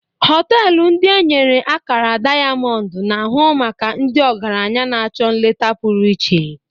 Họtelụ ndị e nyere akara dayamọndụ na-ahụ maka ndị ọgaranya na-achọ nleta pụrụ iche.